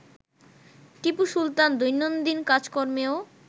টিপু সুলতান দৈনন্দিন কাজকর্মেও